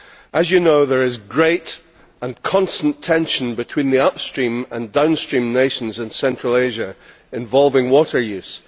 As you know there is great and constant tension between the upstream and downstream nations in central Asia involving water use.